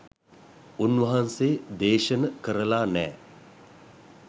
උන්වහන්සේ දේශන කරලා නෑ